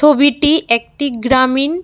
ছবিটি একটি গ্রামীণ--